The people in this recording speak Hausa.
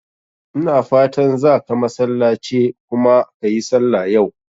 Ina fatan zaka masallace kuma ka yi sallah yau?